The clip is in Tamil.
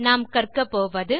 நாம் கற்க போவது